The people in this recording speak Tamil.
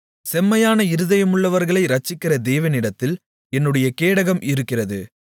செம்மையான இருதயமுள்ளவர்களை இரட்சிக்கிற தேவனிடத்தில் என்னுடைய கேடகம் இருக்கிறது